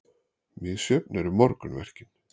Misjöfn eru morgunverkin.